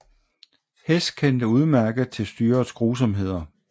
Hess kendte udmærket til styrets grusomheder